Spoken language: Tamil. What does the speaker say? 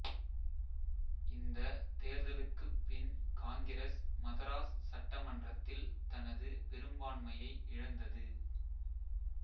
இந்தத் தேர்தலுக்குப் பின் காங்கிரஸ் மதராஸ் சட்ட மன்றத்தில் தனது பெரும்பான்மையை இழந்தது